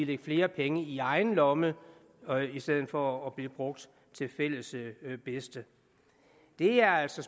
lidt flere penge i egen lomme i stedet for at blive brugt til fælles bedste det er altså